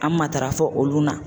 An matarafa olu na